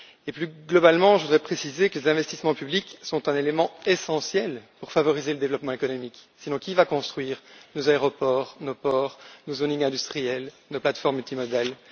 Plus globalement, je voudrais préciser que les investissements publics sont un élément essentiel pour favoriser le développement économique, sinon qui va construire nos aéroports, nos ports, nos zones industrielles, nos plateformes multimodales?